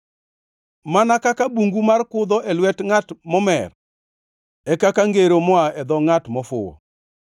Mana kaka bungu mar kudho e lwet ngʼat momer, e kaka ngero moa e dho ngʼat mofuwo.